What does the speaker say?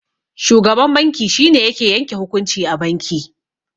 Shugaban banki shine yake yanke hukunci a banki.